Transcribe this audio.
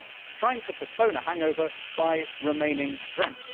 it is like trying to postpone a hangover by remaining drunk.